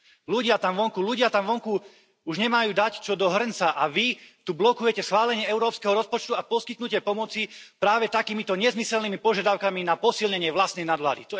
Ľudia tam vonku už nemajú čo dať do hrnca a vy tu blokujete schválenie európskeho rozpočtu a poskytnutie pomoci práve takýmito nezmyslenými požiadavkami na posilnenie vlastnej nadvlády.